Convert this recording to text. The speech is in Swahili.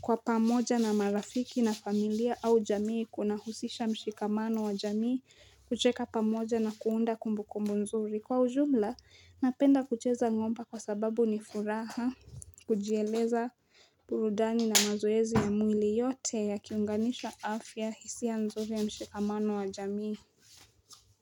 kwa pamoja na marafiki na familia au jamii Kunahusisha mshikamano wa jamii kucheka pamoja na kuunda kumbumbu nzuri Kwa ujumla, napenda kucheza ng'omba kwa sababu ni furaha kujieleza burudani na mazoezi ya mwili yote yakiunganishwa afya hisia nzuri ya mshikamano wa jamii.